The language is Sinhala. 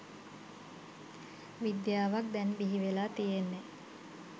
විද්‍යාවක් දැන් බිහිවෙලා තියෙන්නේ